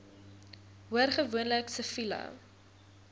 hoor gewoonlik siviele